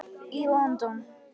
í London.